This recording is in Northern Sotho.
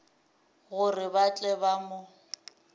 gore ba tle ba mo